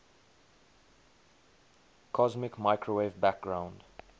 cosmic microwave background